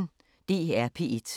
DR P1